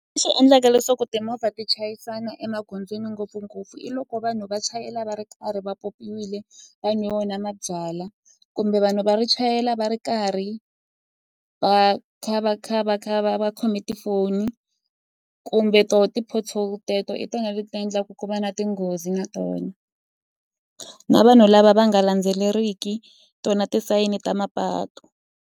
Leswi endlaka leswaku timovha ti chayisana emagondzweni ngopfungopfu i loko vanhu va chayela va ri karhi va pyopyiwile vanhu nwe wona mabyalwa kumbe vanhu va ri chayela va ri karhi va kha va kha va va kha va va khome tifoni kumbe to ti-pothole teto i tona leti ti endlaka ku va na tinghozi na tona na vanhu lava va nga landzeleriwiki tona tisayini ta mapatu.